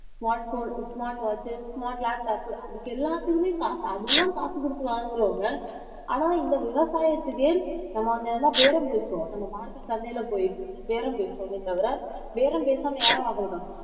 smart phone smart watch உ smart laptop உ அதுக்கு எல்லாத்துக்குமே காசு அதெல்லாம் காசு கொடுத்து வாங்குறவங்க ஆனா இந்த விவசாயத்துக்கு நம்ம அங்க என்ன பேரம் பேசுவோம் நம்ம மார்க்கெட் சந்தையில போயிட்டு இருந்து பேரம் பேசுவோமே தவிர பேரம் பேசாம யாரும் வாங்க மாட்டோம்